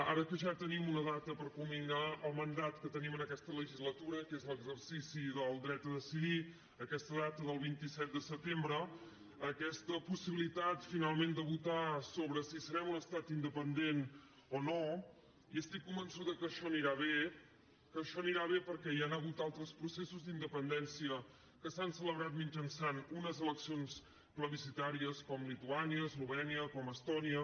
ara que ja te·nim una data per culminar el mandat que tenim en aquesta legislatura que és l’exercici del dret a deci·dir aquesta data del vint set de setembre aquesta possibi·litat finalment de votar sobre si serem un estat inde·pendent o no i estic convençuda que això anirà bé que això anirà bé perquè hi han hagut altres proces·sos d’independència que s’han celebrat mitjançant unes eleccions plebiscitàries com lituània eslovè·nia com estònia